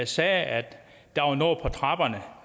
sagde at der var noget på trapperne